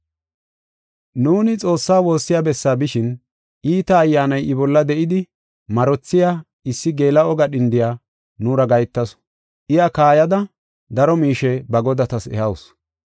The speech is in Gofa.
Nuuni Xoossaa woossiya bessaa bishin iita ayyaanay I bolla de7idi marothiya issi geela7o gadhindoy nuura gahetasu. Iya kaayada daro miishe ba godatas ehawusu.